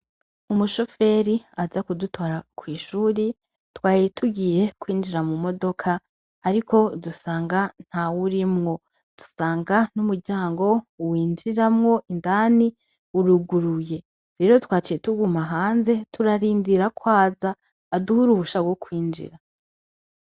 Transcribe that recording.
Umushoferi aza kudutora kw'ishuri twari tugiye kwinjira mu modoka ariko dusanga ntawurimwo dusanga n'umuryango winjiramwo indani uruguruye rero twaciye tuguma hanze turarindira kwaza aduhe uruhusha rwo kwinjira .